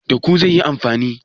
Da ku zai yi amfani?